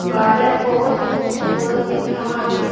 Garden बहुत ही खूबसूरत दिख रहा है।